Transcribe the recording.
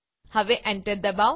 હવે એન્ટર દબાવો